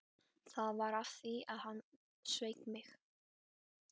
Það var af því að hann sveik mig.